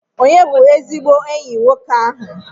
Ònye bụ ezigbo enyi nwoke ahụ?